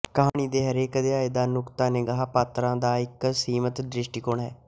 ਕਹਾਣੀ ਦੇ ਹਰੇਕ ਅਧਿਆਇ ਦਾ ਨੁਕਤਾ ਨਿਗਾਹ ਪਾਤਰਾਂ ਦਾ ਇੱਕ ਸੀਮਤ ਦ੍ਰਿਸ਼ਟੀਕੋਣ ਹੈ